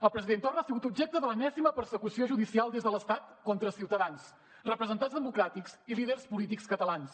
el president torra ha sigut objecte de l’enèsima persecució judicial des de l’estat contra ciutadans representants democràtics i líders polítics catalans